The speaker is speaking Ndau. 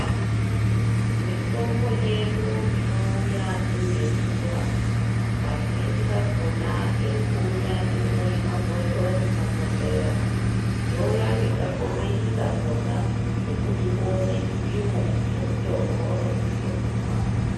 Mitombo yedu inouya iri yekumwaa kazhinji kakonaa iri kuuya iri muzvimabhodhlera, youya ngekakomichi kakonaa kekuti uone chipimo chemutombo waunosise kumwaa.